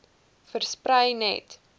versprei net